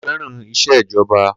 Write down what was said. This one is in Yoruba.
Ko fẹràn iṣẹ́ ìjọba